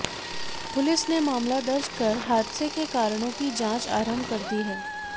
police ने मामला दर्ज कर हादसे के कारणों की जांच आरंभ कर दी है